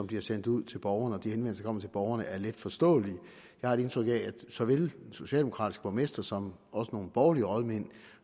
bliver sendt ud til borgerne borgerne er letforståelige jeg har et indtryk af at så vel den socialdemokratiske borgmester som også nogle borgerlige rådmænd